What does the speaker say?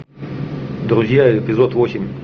друзья эпизод восемь